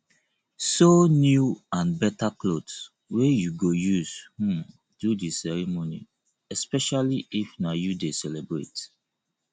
sew new and better clothes wey you go use um do di ceremony especially if na you de celebrate